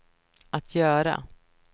att göra